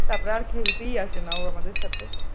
তারপরে আর খেলতেই আসে না ও আমাদের সাথে